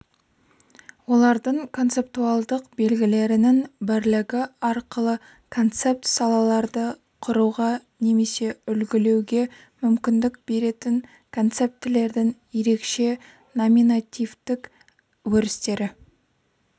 олардың концептуалдық белгілерінің бірлігі арқылы концепт салаларды құруға немесе үлгілеуге мүмкіндік беретін концептілердің ерекше номинативтік өрістері